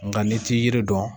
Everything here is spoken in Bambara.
Nga n'i t'i yiri dɔn